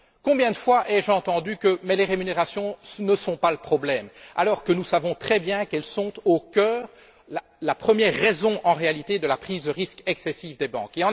Combien de fois ai je entendu que les rémunérations ne sont pas le problème, alors que nous savons très bien qu'elles sont au cœur la première raison en réalité de la prise de risque excessive des banques?